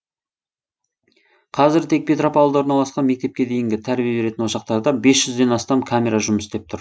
қазір тек петропавлда орналасқан мектепке дейінгі тәрбие беретін ошақтарда бес жүзден астам камера жұмыс істеп тұр